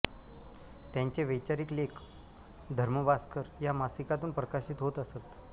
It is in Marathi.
त्यांचे वैचारिक लेख धर्मभास्कर या मासिकातून प्रकाशित होत असत